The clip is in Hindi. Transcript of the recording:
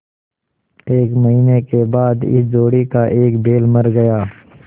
एक महीने के बाद इस जोड़ी का एक बैल मर गया